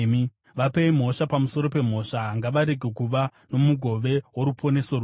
Vapei mhosva pamusoro pemhosva; ngavarege kuva nomugove woruponeso rwenyu.